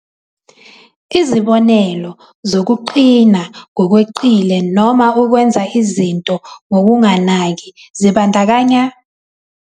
Izibonelo zokuqina ngokweqile noma ukwenza izinto ngokunganaki zibandakanya.